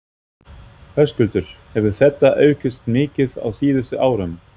Höskuldur: Hefur þetta aukist mikið á síðustu árum?